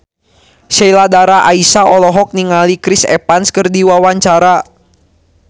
Sheila Dara Aisha olohok ningali Chris Evans keur diwawancara